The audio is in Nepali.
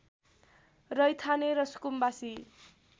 रैथाने र सुकुम्बासी